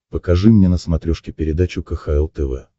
покажи мне на смотрешке передачу кхл тв